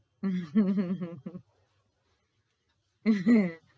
આહ